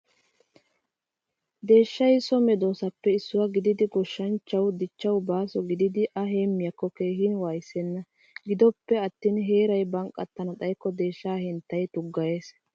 Deeshshay so medosappe issuwaa gididi goshshanchchawu dichchawu baaso gididi a heemiyogekka keehin wayssena. Gidoppe attin heeray banqqatana xayikko deeshshaa henttay tuggayees.